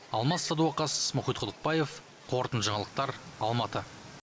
алмас садуақас мұхит құдықбаев қорытынды жаңалықтар алматы